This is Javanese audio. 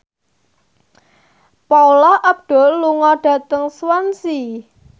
Paula Abdul lunga dhateng Swansea